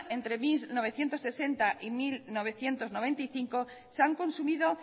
entre mil novecientos sesenta y mil novecientos noventa y cinco se han consumido